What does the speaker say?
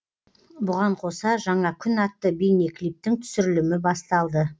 бұған қоса жаңа күн атты бейнеклиптің түсірілімі басталды